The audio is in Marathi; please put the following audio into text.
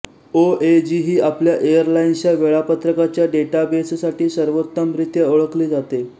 ओएजी ही आपल्या एअरलाइन्सच्या वेळापत्रकाच्या डेटाबेससाठी सर्वोत्तमरित्या ओळखली जाते